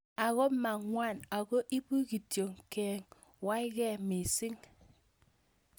Ako mang'wan ako ipu kitio keng'warkei mising'